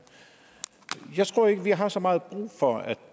jeg tror ikke vi har så meget brug for at